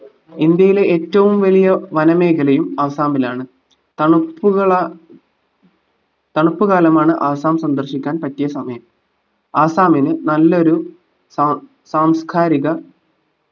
ഇന്ത്യയിലെ ഏറ്റവും വലിയ വന മേഖലയും ആസാമിലാണ് തണുപ്പ്കളാ തണുപ്പ്കാലമാണ് ആസാം സന്ദർശിക്കാൻ പറ്റിയ സമയം ആസാമിന് നല്ലൊരു സാം സാംസ്‌കാരിക